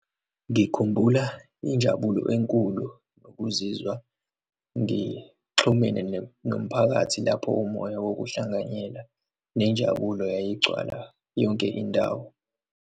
Ngikhumbula injabulo enkulu nokuzizwa ngixhumene nomphakathi, lapho umoya wokuhlanganyela, nenjabulo yayigcwala yonke indawo.